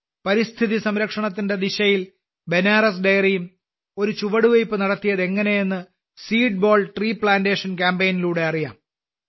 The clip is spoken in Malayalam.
പരിസ്ഥിതി സംരക്ഷണത്തിന്റെ ദിശയിൽ ബനാസ് ഡെയറിയും ഒരു ചുവടുവെപ്പ് നടത്തിയതെങ്ങനെയെന്ന് സീഡ്ബോൾ ട്രീപ്ലാന്റേഷൻ കാമ്പയിനിലൂടെ അറിയാം